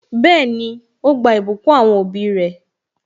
Bẹẹni, ó gba ìbùkún àwọn òbí re